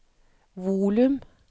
volum